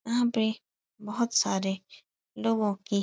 यहाँ पे बहोत सारे लोगों की --